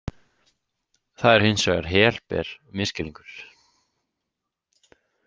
Það er hins vegar helber misskilningur.